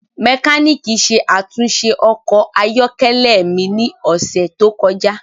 Mekaniki ṣe atunṣe ọkọ ayọkẹlẹ mi ni ọsẹ to kọja.